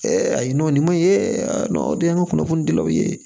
ayiwa nin maɲi o de ye an ka kunnafoni dilaw ye